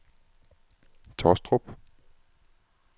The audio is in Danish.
Taastrup